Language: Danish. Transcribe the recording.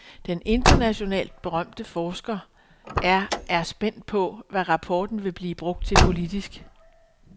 Den internationalt berømte forsker er er spændt på, hvad rapporten vil blive brugt til politisk.